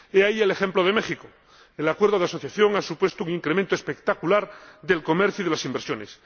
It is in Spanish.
He ahí el ejemplo de México el acuerdo de asociación ha supuesto un incremento espectacular del comercio y de las inversiones.